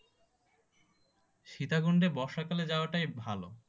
সীতাকুণ্ডে বর্ষাকালে যাওয়াটাই ভাল।